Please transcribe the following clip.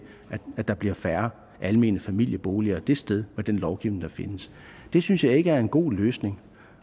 at der bliver færre almene familieboliger det sted med den lovgivning der findes det synes jeg ikke er en god løsning